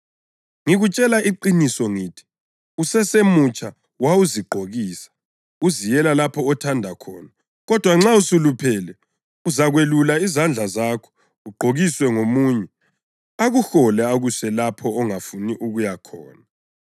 Ngikutshela iqiniso ngithi, usesemutsha wawuzigqokisa, uziyele lapho othanda khona; kodwa nxa usuluphele, uzakwelula izandla zakho, ugqokiswe ngomunye, akuhole akuse lapho ongafuni ukuya khona.”